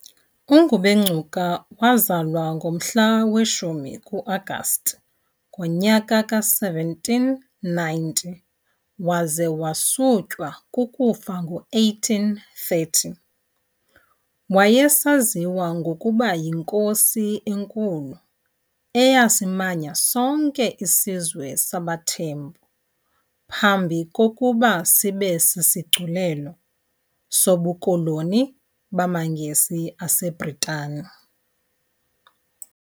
UNgubengcuka wazalwa ngomhla we-10 ku-Agasti ngomnyaka ka1790 waza wasutywa kukufa ngo1830. Wayesaziwa ngokuba yiNkosi eNkulu, eyasimanya sonke isizwe sabaThembu phambi kokuba sibe sisigculelo sobukoloni bamaNgesi aseBritane.